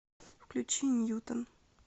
включи ньютон